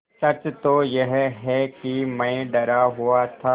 सच तो यह है कि मैं डरा हुआ था